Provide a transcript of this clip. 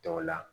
Tɔw la